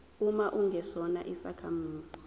uma ungesona isakhamuzi